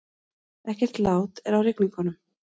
Ekkert lát er á rigningunum